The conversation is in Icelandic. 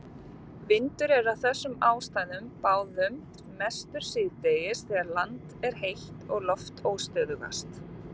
Vindur er af þessum ástæðum báðum mestur síðdegis þegar land er heitast og loft óstöðugast.